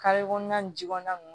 Kare kɔnɔna nin ji kɔnɔna nunnu